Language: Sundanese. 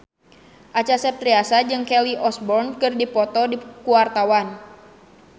Acha Septriasa jeung Kelly Osbourne keur dipoto ku wartawan